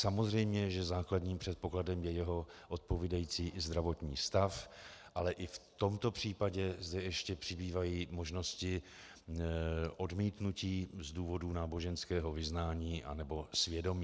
Samozřejmě, že základním předpokladem je jeho odpovídající zdravotní stav, ale i v tomto případě zde ještě přibývají možnosti odmítnutí z důvodu náboženského vyznání anebo svědomí.